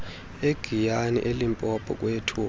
egiyani elimpopo kweyethupha